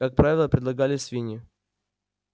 как правило предлагали свиньи